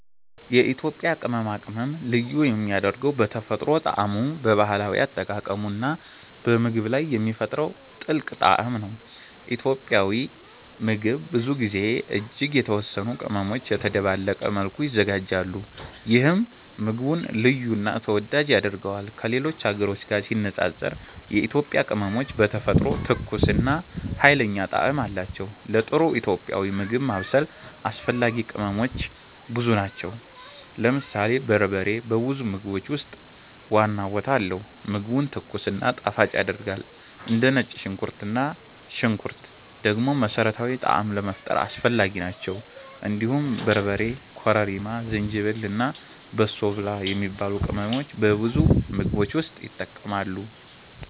የኢትዮጵያ ቅመማ ቅመም ልዩ የሚያደርገው በተፈጥሮ ጣዕሙ፣ በባህላዊ አጠቃቀሙ እና በምግብ ላይ የሚፈጥረው ጥልቅ ጣዕም ነው። ኢትዮጵያዊ ምግብ ብዙ ጊዜ እጅግ የተወሰኑ ቅመሞች በተደባለቀ መልኩ ይዘጋጃሉ፣ ይህም ምግቡን ልዩ እና ተወዳጅ ያደርገዋል። ከሌሎች ሀገሮች ጋር ሲነጻጸር የኢትዮጵያ ቅመሞች በተፈጥሮ ትኩስ እና ኃይለኛ ጣዕም አላቸው። ለጥሩ ኢትዮጵያዊ ምግብ ማብሰል አስፈላጊ ቅመሞች ብዙ ናቸው። ለምሳሌ በርበሬ በብዙ ምግቦች ውስጥ ዋና ቦታ አለው፣ ምግቡን ትኩስ እና ጣፋጭ ያደርጋል። እንደ ነጭ ሽንኩርት እና ሽንኩርት ደግሞ መሠረታዊ ጣዕም ለመፍጠር አስፈላጊ ናቸው። እንዲሁም በርበሬ፣ ኮረሪማ፣ ዝንጅብል እና በሶ ብላ የሚባሉ ቅመሞች በብዙ ምግቦች ውስጥ ይጠቀማሉ።